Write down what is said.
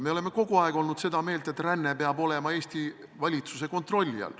Me oleme kogu aeg olnud seda meelt, et ränne peab olema Eesti valitsuse kontrolli all.